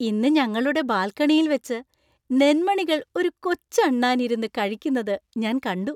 ഇന്ന് ഞങ്ങളുടെ ബാൽക്കണിയിൽ വെച്ച നെന്‍മണികൾ ഒരു കൊച്ചു അണ്ണാൻ ഇരുന്നു കഴിക്കുന്നതു ഞാൻ കണ്ടു.